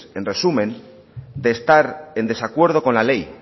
en resumen de estar en desacuerdo con la ley